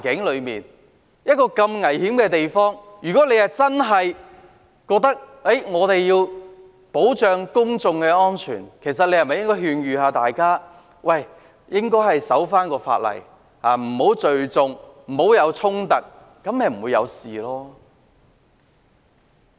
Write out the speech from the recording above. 在一個如此危險的地方，如果他真的認為要保障公眾安全，其實是否應該勸諭大家守法，不要聚眾，不要衝突？